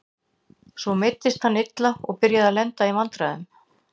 Svo meiddist hann illa og byrjaði að lenda í vandræðum.